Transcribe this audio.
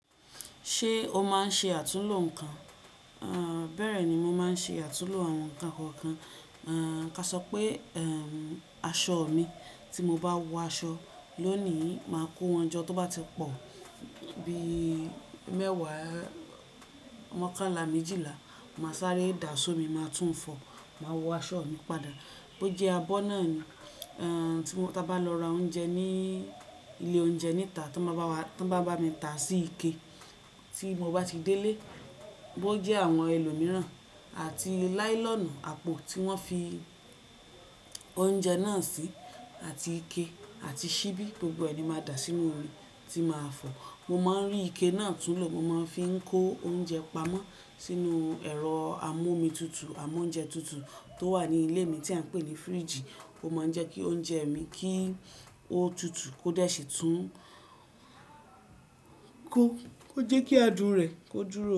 Ṣé o máa ń ṣe àtúnlo nǹkan? Bẹ́ẹ̀ ni mo máa ń ṣe àtúnlo àwọn nǹkan kọ̀ọ̀kan. Ka sọ pé aṣọ mi, tí mo bá wọ aṣọ lónìí, máa kó wọn jọ tó bá ti pọ̀ bíi mẹ́wàá, mọkànlá méjìlá, màá sáré dà á só mi, màá tún fọ̀, màá wọ aṣọ mi padà. Bo jẹ́ abọ́ náà ni. Ta ba lọ ra oúnjẹ ní ilé oúnjẹ níta, tí wọ́n bá mi tà sí ike tí mo bá ti délé, bó jẹ́ àwọn ẹlòmíràn àti láílọ̀nù àpò tí wọ́n fi oúnjẹ náà sí àti ike àti ṣíbí, gbogbo e ni máa dà sínú omi tí màá fọ̀. Mo máa ń rí ike náà tún lò. Mo máa ń fi kó oúnjẹ pamọ́ sínú ẹ̀rọ amú omi tutù, amóúnjẹ tutù tó wà ní ilé mi tí à ń pè ní firiji. Ó máa ń jẹ́ kí oúnjẹ mi kí ó tutù kó déṣe tún ún kó. Ó jẹ́ kí adùn rẹ̀ ó dúró.